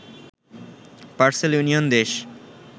parcel union দেশ